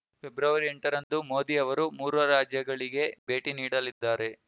February ಎಂಟರಂದು ಮೋದಿ ಅವರು ಮೂರು ರಾಜ್ಯಗಳಿಗೆ ಭೇಟಿ ನೀಡಲಿದ್ದಾರೆ